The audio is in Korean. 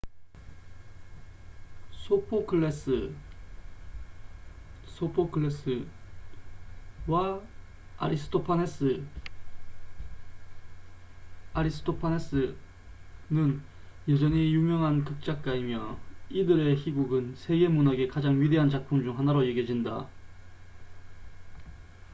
소포클레스sophocles와 아리스토파네스aristophanes는 여전히 유명한 극작가이며 이들의 희곡은 세계 문학의 가장 위대한 작품 중 하나로 여겨진다